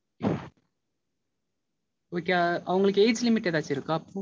உம் Okay அவங்களுக்கு age limit எதாச்சும் இருக்கா?